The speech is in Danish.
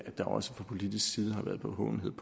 der også fra politisk side har været bevågenhed